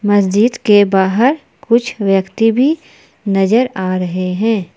मस्जिद के बाहर कुछ व्यक्ति भी नजर आ रहे हैं।